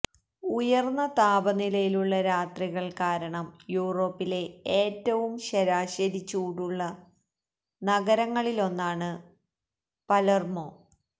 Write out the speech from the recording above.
ഉയർന്ന താപനിലയുള്ള രാത്രികൾ കാരണം യൂറോപ്പിലെ ഏറ്റവും ശരാശരി ചൂടുള്ള നഗരങ്ങളിലൊന്നാണ് പലേർമോ